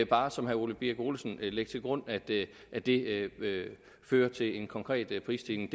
bare som herre ole birk olesen lægge til grund at det at det fører til en konkret prisstigning